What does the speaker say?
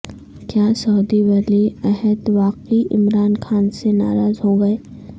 کیا سعودی ولی عہد واقعی عمران خان سے ناراض ہو گئے